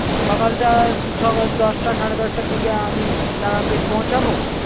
সকালটা সকাল দশটা সাড়ে দশটা দিকে আমি তারাপীঠ পৌছাবো.